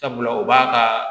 Sabula u b'a ka